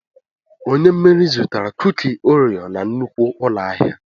Onye mmeri zụtara kuki oreo na nnukwu ụlọ ahịa.